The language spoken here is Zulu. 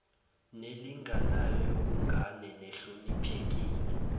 nelinganayo yobungane nehloniphekile